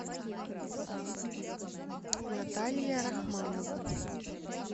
наталья рахманова